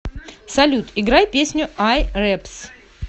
салют играй песню ай рэпс